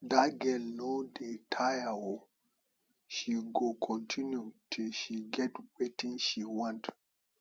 dat girl no dey tire oo she go continue till she get wetin she want